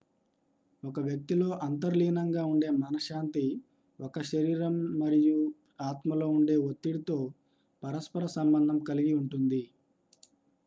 ఒక వ్యక్తిలో అంతర్లీనంగా ఉండే మనశ్శాంతి ఒకరి శరీరం మరియు ఆత్మలో ఉండే ఒత్తిడితో పరస్పర సంబంధం కలిగి ఉంటుంది